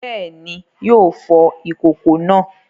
Bẹ́ẹ̀ni, yóò fọ ìkòkò náà.